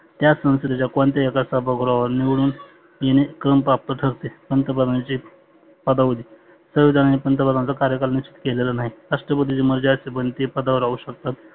त्या संसदेच्या कोणत्याही एका सभा गृहावर निवडुन येणे क्रम प्राप्त ठरते. पंतप्रधानाचे पदावली सव्वीस जानेवारी पंतप्रधानचा कार्यकाल निश्चित केलेला नाही. राष्ट्रपतीच्या मर्जी पदावर राहु शकतात.